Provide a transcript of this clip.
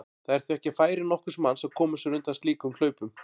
Það er því ekki á færi nokkurs manns að koma sér undan slíkum hlaupum.